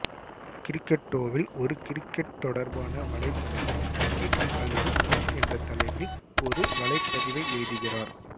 கிரிக்கெட்டோவில் ஒரு கிரிக்கெட் தொடர்பான வலைத்தளத்தில் ஹிட் அல்லது மிஸ் என்ற தலைப்பில் ஒரு வலைப்பதிவை எழுதுகிறார்